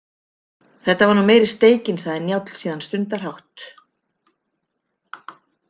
Þetta var nú meiri steikin, sagði Njáll síðan stundarhátt.